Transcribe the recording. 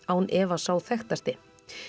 án efa sá þekktasti